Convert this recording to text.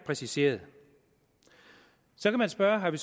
præciseret så kan man spørge har vi